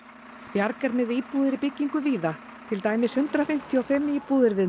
bjarg er með íbúðir í byggingu víða til dæmis hundrað fimmtíu og fimm íbúðir við